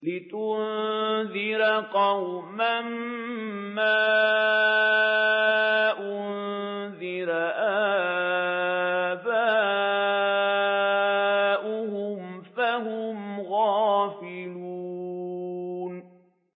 لِتُنذِرَ قَوْمًا مَّا أُنذِرَ آبَاؤُهُمْ فَهُمْ غَافِلُونَ